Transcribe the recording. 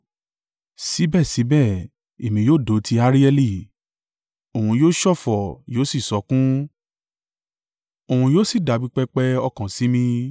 Síbẹ̀síbẹ̀ èmi yóò dó ti Arieli òun yóò ṣọ̀fọ̀ yóò sì sọkún, òun yóò sì dàbí pẹpẹ ọkàn sí mi.